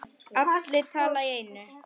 Allir tala í einu.